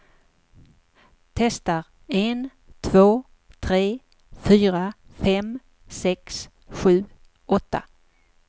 Testar en två tre fyra fem sex sju åtta.